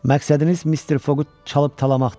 Məqsədiniz Mister Foqu çalıb-talamaqdır.